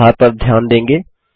आप सुधार पर ध्यान देंगे